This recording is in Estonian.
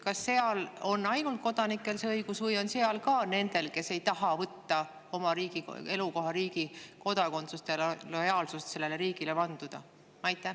Kas seal on see õigus ainult kodanikel või on seal see ka nendel, kes ei taha võtta oma elukohariigi kodakondsust ja lojaalsust sellele riigile vanduda?